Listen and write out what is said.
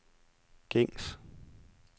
gængs